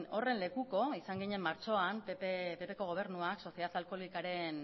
horren lekuko izan ginen martxoan ppko gobernuak soziedad alkoholikaren